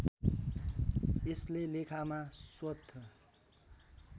यसले लेखामा स्वत